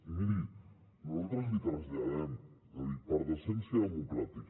i miri nosaltres li traslladem per decència democràtica